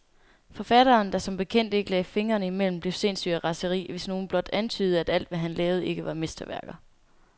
Forfatteren, der som bekendt ikke lagde fingrene imellem, blev sindssyg af raseri, hvis nogen blot antydede, at alt, hvad han lavede, ikke var mesterværker.